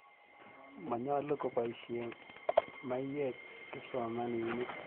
Manyalu kopoisye maiwek kipsomaninik.